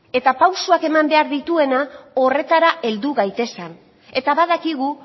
eta pausuak eman behar dituena horretara heldu gaitezen eta badakigu